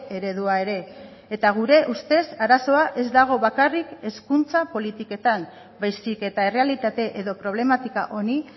eredua ere eta gure ustez arazoa ez dago bakarrik hezkuntza politiketan baizik eta errealitate edo problematika honi